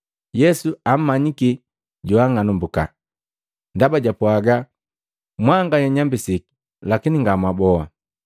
Yesu ammanyiki joang'anambuka, ndaba jwapwaga, “Mwanganya nnyambisiki, lakini nga mwaboa.”